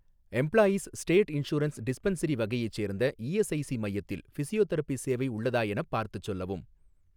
Employees state insurance dispensary வகையைச் சேர்ந்த ESIC மையத்தில் ஃபிசியோதெரபி சேவை உள்ளதா எனப் பார்த்துச் சொல்லவும்.